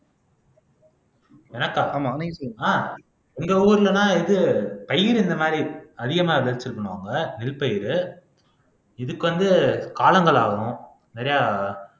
எனக்கா ஆஹ் உங்க ஊர்ல தான் இது பயிர் இந்த மாதிரி அதிகமா விளைச்சல் பண்ணுவாங்க நெல் பயிரு இதுக்கு வந்து காலங்கள் ஆகணும் நிறைய